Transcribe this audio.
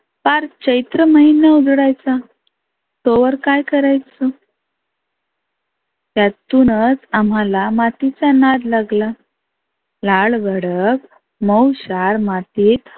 पार चैत्र महिना उजडायचा. तोवर काय करायच? त्यातुनच आम्हाला मातीचा नाद लागला. लाल भडक माऊशार मातीत